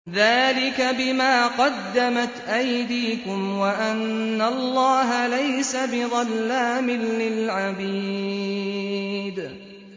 ذَٰلِكَ بِمَا قَدَّمَتْ أَيْدِيكُمْ وَأَنَّ اللَّهَ لَيْسَ بِظَلَّامٍ لِّلْعَبِيدِ